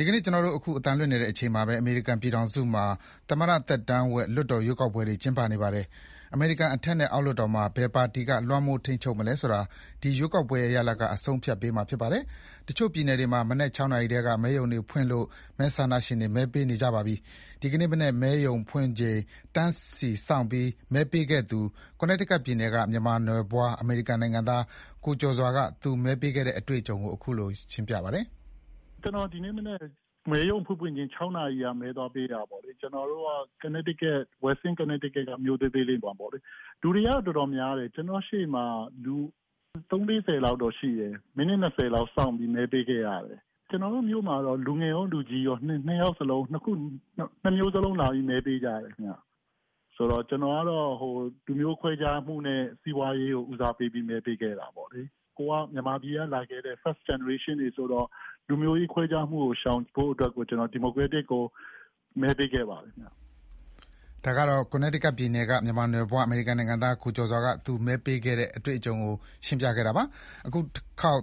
ဒီနေ့ကျွန်တော်တို့ အသံလွှင့်နေချိန်မှာပဲ အမေရိကန်ပြည်ထောင်စုမှာ သမ္မတသက်တမ်းဝက် လွှတ်တော်ရွေးကောက်ပွဲတွေ ကျင်းပနေပါတယ်။ အမေရိကန် အထက်နဲ့အောက်လွှတ်တော်မှာ ဘယ်ပါတီက လွှမ်းမိုးထိန်းချုပ်မလဲဆိုတာ ဒီရွေးကောက်ပွဲတွေရဲ့ ရလာဒ်က အဆုံးအဖြတ်ပေးမှာဖြစ်ပါတယ်။ တချို့ပြည်နယ်တွေမှာ မနက် ၆ နာရီထဲက မဲရုံတွေဖွင့်လို့ မဲဆန္ဒရှင်တွေ မဲပေးနေကြပါတယ်။ ဒီနေ့မနက် မဲရုံဖွင့်ချိန် တန်းစီစောင့်ပြီး မဲပေးခဲ့သူ Connecticut ပြည်နယ်က မြန်မာနွယ်ဘွား အမေရိကန်နိုင်ငံသား ကိုကျော်စွာက သူမဲပေးခဲ့တဲ့ အတွေ့အကြုံကို ခုလို ပြောပြပါတယ်။ "ကျွန်တော်ဒီနေ့မနက် မဲရုံဖွင့်ဖွင့်ချင်း ၆ နာရီလောက်မှာ မဲသွားပေးတာပေါ့။ ကျွန်တော်တို့က Connecticut က မြို့သေးသေးမှာပေါ့လေ၊ လူတွေက တော်တော်များတယ်၊ ကျွန်တော့်ရှေ့မှာ သုံး၊ လေးဆယ် လောက်တော့ရှိတယ်၊ မိနစ်နှစ်ဆယ်လောက်စောင့်ပြီးမဲပေးခဲ့ရတယ်။ ကျွန်တော်တို့မြို့မှာတော့ လူငယ်ကော၊ လူကြီးကော နှစ်မျိုးလုံးလာပြီးတော့ မဲပေးကြတယ်ခင်ဗျ။ ကျွန်တော်ကတော့ လူမျိုးခွဲခြားမှုနဲ့ စီးပွားရေးကို ဦးစားပေးပြီးမဲပေးခဲ့တာပေါ့လေ။ ကျွန်တော်တို့က မြန်မာပြည်ကလာခဲ့တဲ့ first generation တွေဆိုတော့ လူမျိုးရေးခွဲခြားမှုကို ရှောင်ဖို့အတွက်ကို ကျွန်တော် ဒီမိုကရက်တစ်ကို မဲပေးခဲ့ပါတယ်" အခုတခေါက်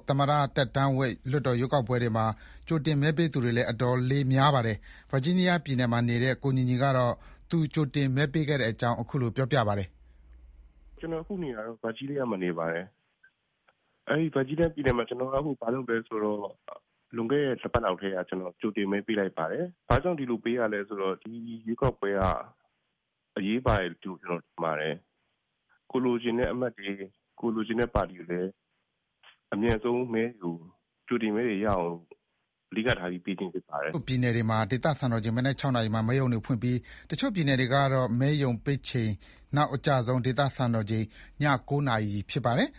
သမ္မတသက်တမ်းဝက် လွှတ်တော်ရွေးကောက်ပွဲတွေမှာ ကြိုတင်မဲပေးသူတွေလည်း တော်တော်လေးများပါတယ်။ Virginia ပြည်နယ်မှာနေတဲ့ ကိုညီညီကတော့ သူ ကြိုတင်မဲပေးခဲ့တဲ့အကြောင်း ခုလို ပြောပါတယ်။ "ကျွန်တော်အခုနေတာတော့ ဗာဂျီးနီးယားမှာနေပါတယ်။ ကျွန်တော်လွန်ခဲ့တဲ့ တစ်ပတ်လောက်ကတည်းက ကြိုတင်မဲပေးလိုက်ပါတယ်။ ဘာကြောင့်ဒီလိုပေးရသလဲဆိုတော့ ဒီရွေးကောက်ပွဲက အရေးပါတယ်လို့ ထင်ပါတယ်။ ကိုယ်လိုချင်တဲ့အမတ်တွေ၊ ကိုယ်လိုချင်တဲ့ ပါတီတွေလည်း အမြန်ဆုံးမဲတွေရထားအောင် အဓိကထားပြီးပေးခြင်းဖြစ်ပါတယ်" အမေရိကန်ပြည်ထောင်စု တချို့ပြည်နယ်တွေမှာ မဲရုံပိတ်ချိန်က နောက်အကျဆုံး ဒေသစံတော်ချိန် ည ၉ နာရီဖြစ်ပါတယ်။